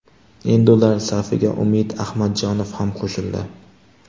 Endi ular safiga Umid Ahmadjonov ham qo‘shildi.